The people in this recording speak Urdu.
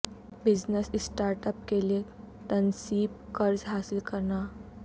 بزنس سٹارٹ اپ کے لئے تنصیب قرض حاصل کرنا